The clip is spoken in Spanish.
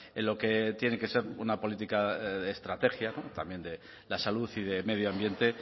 en lo que tiene que ser una política de estrategia también de la salud y de medio ambiente